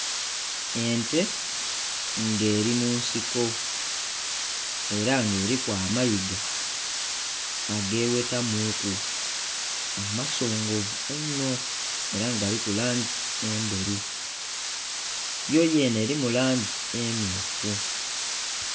Ente nga eri munsiko era nga eriku amayiga ageghetamuku amasongovu inho era nga galiku langi endheru, yoyenhe erimu langi emmyufu.